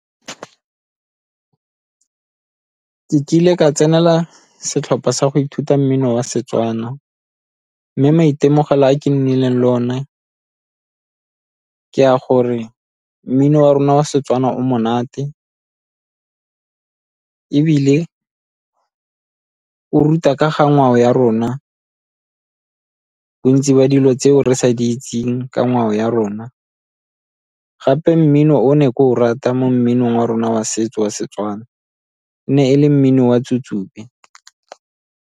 Ke kile ka tsenela setlhopha sa go ithuta mmino wa Setswana mme maitemogelo a ke nnileng le one ka a gore mmino wa rona wa Setswana o monate, ebile o ruta ka ga ngwao ya rona, bontsi ba dilo tseo re sa di itseng ka ngwao ya rona. Gape mmino o ne ke o rata mo mminong wa rona wa setso wa Setswana, e ne e le mmino wa .